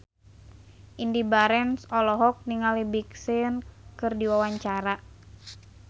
Indy Barens olohok ningali Big Sean keur diwawancara